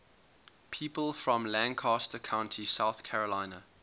people from lancaster county south carolina